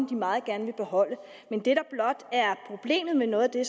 de meget gerne vil beholde men det der blot er problemet med noget af det